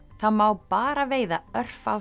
það má bara veiða örfá